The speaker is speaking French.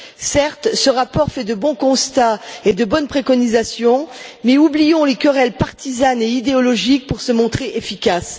Certes, ce rapport formule de bons constats et de bonnes préconisations, mais oublions les querelles partisanes et idéologiques pour nous montrer efficaces.